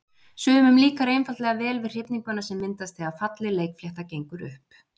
Sumum líkar einfaldlega vel við hrifninguna sem myndast þegar falleg leikflétta gengur upp.